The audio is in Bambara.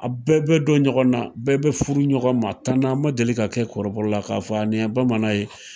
A bɛɛ bɛ dɔn ɲɔgɔn na , a bɛɛ bɛ furu ɲɔgɔn ma. Tana ma deli ka kɛ kɔrɔbɔrɔ la , k'a fɔ aa nin bamanan ye.